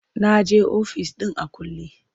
Na je ofis ɗin a kulle.